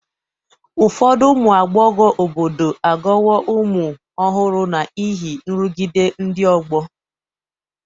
Ụfọdụ ụmụ agbọghọ obodo aghọwo ụmụ ọhụrụ n'ihi nrụgide ndị ọgbọ